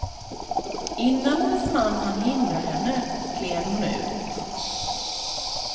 Innan hennes man hann hindra henne gled hon ut.